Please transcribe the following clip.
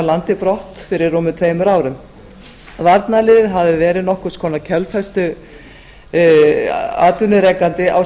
landi brott fyrir rúmum tveimur árum varnarliðið hafði verið nokkurs konar kjölfestuatvinnurekandi á